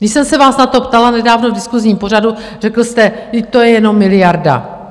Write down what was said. Když jsem se vás na to ptala nedávno v diskusním pořadu, řekl jste: Vždyť to je jenom miliarda.